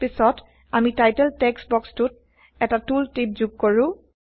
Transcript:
পিছত160আমি title text বক্সটোত এটা tool tip যোগ কৰো